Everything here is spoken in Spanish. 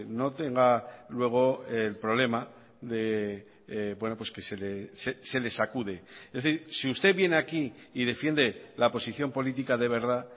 no tenga luego el problema de que se le sacude es decir si usted viene aquí y defiende la posición política de verdad